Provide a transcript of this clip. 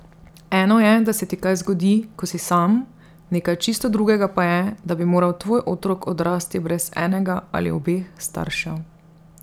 Eno je, da se ti kaj zgodi, ko si sam, nekaj čisto drugega pa je, da bi moral tvoj otrok odrasti brez enega ali obeh staršev.